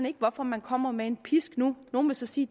ikke hvorfor man kommer med en pisk nu nogle vil så sige